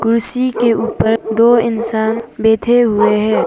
कुर्सी के ऊपर दो इंसान बैठे हुए हैं।